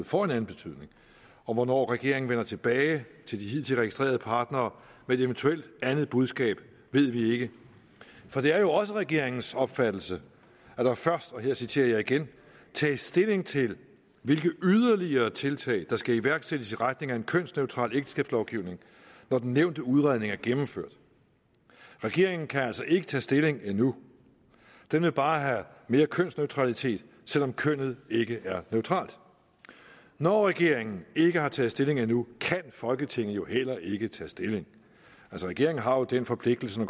får en anden betydning og hvornår regeringen vender tilbage til de hidtil registrerede partnere med et eventuelt andet budskab ved vi ikke for det er jo også regeringens opfattelse at der først og her citerer jeg igen tages stilling til hvilke yderligere tiltag der skal iværksættes i retningen af en kønsneutral ægteskabslovgivning når den nævnte udredning er gennemført regeringen kan altså ikke tage stilling endnu den vil bare have mere kønsneutralitet selv om kønnet ikke er neutralt når regeringen ikke har taget stilling endnu kan folketinget jo heller ikke tage stilling regeringen har jo den forpligtelse når